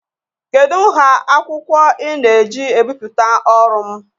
Kedu nha akwụkwọ ị na-eji ebipụta ọrụ m?